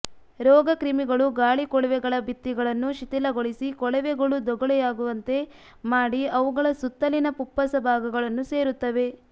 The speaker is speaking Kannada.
ರೋಗಕ್ರಿಮಿಗಳು ಗಾಳಿಕೊಳವೆಗಳ ಭಿತ್ತಿಗಳನ್ನು ಶಿಥಿಲಗೊಳಿಸಿ ಕೊಳವೆಗಳು ದೊಗಳೆಯಾಗುವಂತೆ ಮಾಡಿ ಅವುಗಳ ಸುತ್ತಲಿನ ಫುಪ್ಪಸ ಭಾಗಗಳನ್ನು ಸೇರುತ್ತವೆ